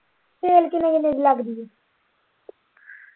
Sale ਕਿੰਨੇ ਕੁ ਦਿਨ ਲਗਦੀ ਆ।